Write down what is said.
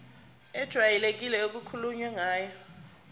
ejwayelekile okukhulunywe ngayo